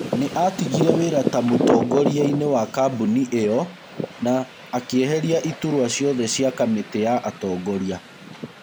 Nĩatigire wĩra ta mũtongorianĩ wa kabuni io na akĩeheria iturwa ciothe cia kamĩtĩ ya atongoria